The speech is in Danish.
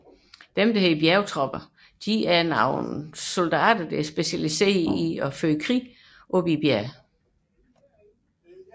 Bjergtropper er militære styrker der er specialiseret i krigsførelse i bjergområder